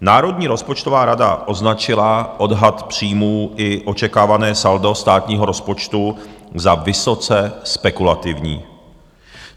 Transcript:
Národní rozpočtová rada označila odhad příjmů i očekávané saldo státního rozpočtu za vysoce spekulativní.